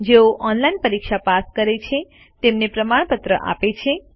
જેઓ ઓનલાઇન પરીક્ષા પાસ કરે છે તેમને પ્રમાણપત્ર આપે છે